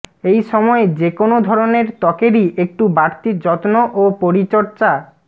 এই সময়ে যেকোনও ধরনের ত্বকেরই একটু বাড়তি যত্ন ও পরিচর্